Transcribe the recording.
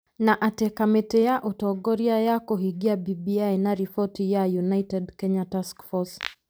Na atĩ kamĩtĩ ya ũtongoria ya kũhingia BBI na riboti ya 'United Kenya Taskforce'